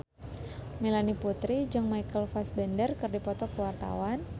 Melanie Putri jeung Michael Fassbender keur dipoto ku wartawan